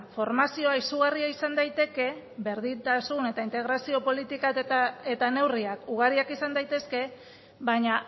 formazioa izugarria izan daiteke berdintasun eta integrazio politikak eta neurriak ugariak izan daitezke baina